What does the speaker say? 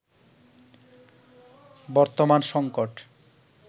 বর্তমান সংকট